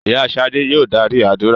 Ìyá Ṣadé yòò darí àdúrà.